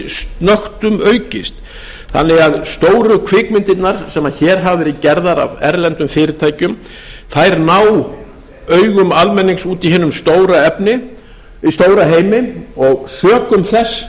snöggtum aukist þannig að stóru kvikmyndirnar sem hér hafa verið gerðar af erlendum fyrirtækjum ná augum almennings úti í hinum stóra heimi og sökum